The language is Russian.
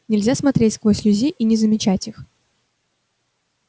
нельзя смотреть сквозь людей и не замечать их